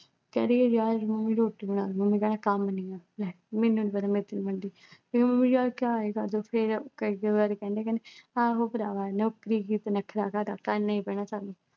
ਰੋਟੀ ਨੀ ਬਣਦੀ, ਮੈਨੂੰ ਕਹਿੰਦਾ ਕੰਮ ਨਹੀਓ ਲੈ ਮੈਨੂੰ ਨੀ ਪਤਾ ਰੋਟੀ ਨੀ ਮਿਲਦੀ ਫਿਰ ਮੰਮੀ ਨੀ ਕਰਦੀ ਫਿਰ ਕਈ-ਕਈ ਵਾਰੀ ਕਹਿੰਦੀ, ਕਹਿੰਦੀ ਆਹੋ ਭਰਾਵਾ ਨੌਕਰੀ ਵਿੱਚ ਨਖਰਾ ਕਾਹਦਾ ਕਰਨਾ ਹੀ ਪੈਣਾ ਸਾਨੂੰ